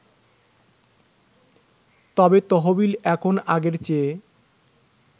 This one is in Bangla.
তবে তহবিল এখন আগের চেয়ে